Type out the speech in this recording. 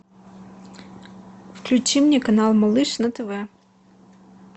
включи мне канал малыш на тв